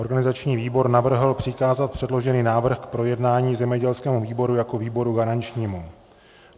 Organizační výbor navrhl přikázat předložený návrh k projednání zemědělskému výboru jako výboru garančnímu.